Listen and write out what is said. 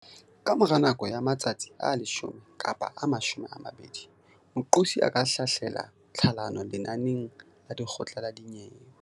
Kamora nako ya matsatsi a 10 kapa a 20, moqosi a ka hlahlela tlhalano lenaneng la lekgotla la dinyewe.